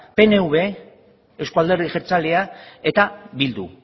pnv euzko alderdi jeltzalea eta bildu